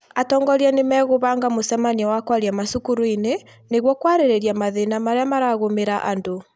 atongoria nĩ megũbanga mũcemanio wa kwaria macukuruinĩ nĩguo kwarĩrĩria mathĩna marĩa maragũmĩra andũ